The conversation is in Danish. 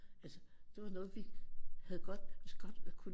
Altså det var noget vi havde godt godt kunne